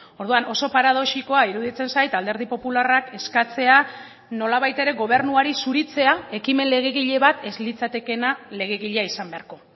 orduan oso paradoxikoa iruditzen zait alderdi popularrak eskatzea nolabait ere gobernuari zuritzea ekimen legegile bat ez litzatekeena legegilea izan beharko